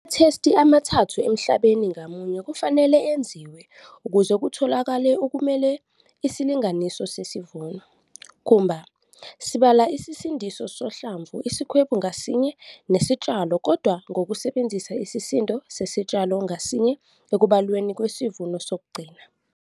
Amathesti amathathu emhlabeni ngamunye kufanele enziwe ukuze kutholakale okumele isilinganiso sesivuno. Khumba, sibala isisindo sohlamvu isikhwebu ngasinye nesitshalo kodwa ngokusebenzisa isisindo sesitshalo ngasinye ekubalweni kwesivuno sokugcina.